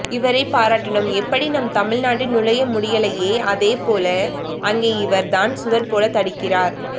இவரை பாராட்டணும் எப்படி நம் தமிழ்நாட்டில் நுழைய முடியலையே அதே போல அங்கே இவர் தான் சுவர் போல தடுக்கிறார்